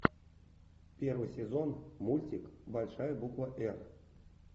первый сезон мультик большая буква р